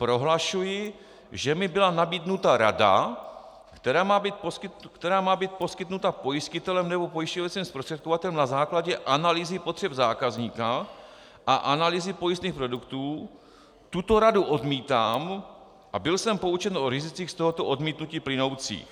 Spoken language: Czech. "Prohlašuji, že mi byla nabídnuta rada, která má být poskytnuta pojistitelem nebo pojišťovacím zprostředkovatelem na základě analýzy potřeb zákazníka a analýzy pojistných produktů, tuto radu odmítám a byl jsem poučen o rizicích z tohoto odmítnutí plynoucích."